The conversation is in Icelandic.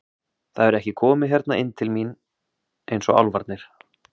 Það hefur ekki komið hérna inn til mín eins og álfarnir.